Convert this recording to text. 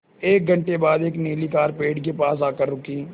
एक घण्टे बाद एक नीली कार पेड़ के पास आकर रुकी